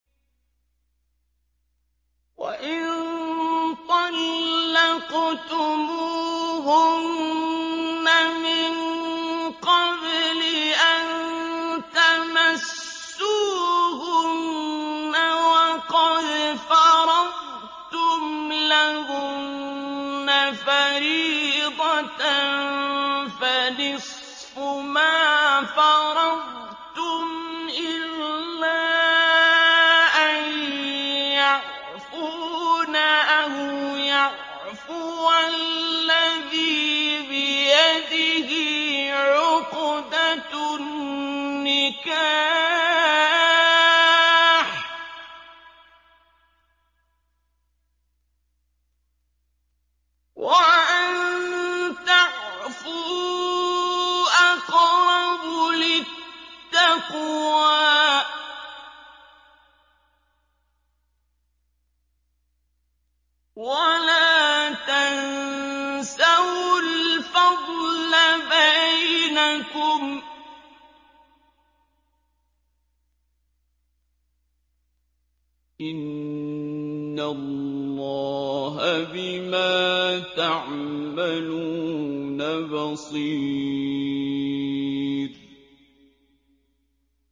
وَإِن طَلَّقْتُمُوهُنَّ مِن قَبْلِ أَن تَمَسُّوهُنَّ وَقَدْ فَرَضْتُمْ لَهُنَّ فَرِيضَةً فَنِصْفُ مَا فَرَضْتُمْ إِلَّا أَن يَعْفُونَ أَوْ يَعْفُوَ الَّذِي بِيَدِهِ عُقْدَةُ النِّكَاحِ ۚ وَأَن تَعْفُوا أَقْرَبُ لِلتَّقْوَىٰ ۚ وَلَا تَنسَوُا الْفَضْلَ بَيْنَكُمْ ۚ إِنَّ اللَّهَ بِمَا تَعْمَلُونَ بَصِيرٌ